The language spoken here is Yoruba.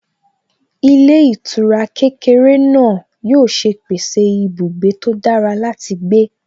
Ilé ìtura kékeré náà yóò ṣe pèsè ibùgbé tó dára láti gbé